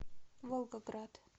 волгоград